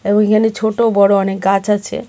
এবং এইখানে ছোটো বড়ো অনেক গাছ আছে .